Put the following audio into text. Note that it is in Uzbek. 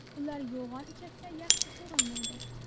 Ular yo‘g‘on ichakda yaxshi so‘rilmaydi.